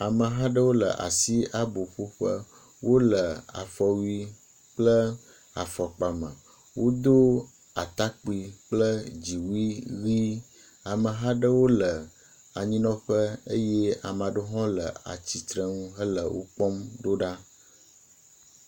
Ameha aɖewo le asi aboƒoƒe, wole afɔwui kple afɔkpa me. Wodo atakpui kple dziwui ʋɛ̃, ameha aɖewo le anyinɔƒe eye ame aɖewo hã le atsitrenu hele wo kpɔm ɖo ɖa.